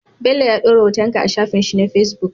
Bello ya dora hoton ka a shafin shi na facebook